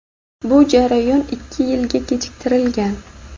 bu jarayon ikki yilga kechiktirilgan.